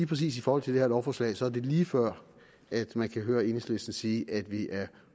præcis i forhold til det her lovforslag er det lige før at man kan høre enhedslisten sige at vi er